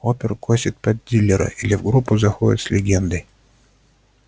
опер косит под дилера или в группу заходит с легендой